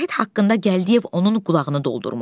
Vahid haqqında Gəldiyev onun qulağını doldurmuşdu.